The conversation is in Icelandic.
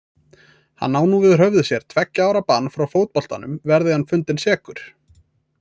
Hann á nú yfir höfði sér tveggja ára bann frá fótboltanum verði hann fundinn sekur.